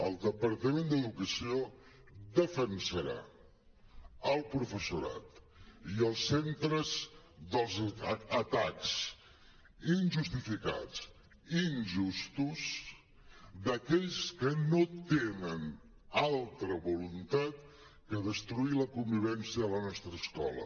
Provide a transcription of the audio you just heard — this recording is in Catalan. el departament d’educació defensarà el professorat i els centres dels atacs injustificats i injustos d’aquells que no tenen altra voluntat que destruir la convivència de la nostra escola